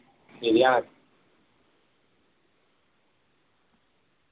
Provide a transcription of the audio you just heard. ശരിയാണ്